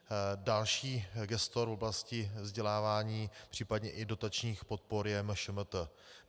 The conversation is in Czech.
Další gestor v oblasti vzdělávání, případně i dotačních podpor je MŠMT.